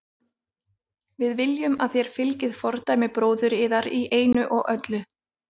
Við viljum að þér fylgið fordæmi bróður yðar í einu og öllu.